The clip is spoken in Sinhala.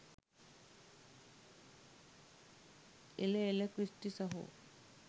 එල එල ක්‍රිස්ටි සහෝ